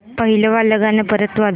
पहिलं वालं गाणं परत वाजव